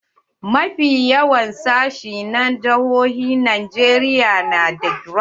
Mafi yawan sashi na jihohin Najeriya na da GRA.